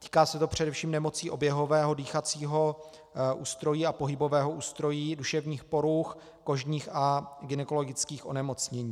Týká se to především nemocní oběhového, dýchacího ústrojí a pohybového ústrojí, duševních poruch, kožních a gynekologických onemocnění.